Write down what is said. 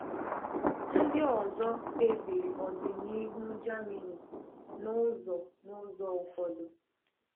Ndị ọzọ kpebiri ọdịnihu Germany n’ụzọ n’ụzọ ụfọdụ.